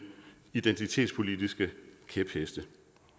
identitetspolitiske kæpheste